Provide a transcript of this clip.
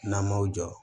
N'an m'o jɔ